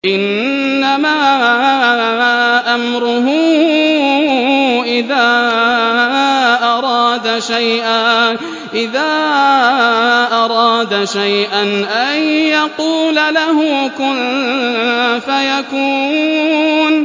إِنَّمَا أَمْرُهُ إِذَا أَرَادَ شَيْئًا أَن يَقُولَ لَهُ كُن فَيَكُونُ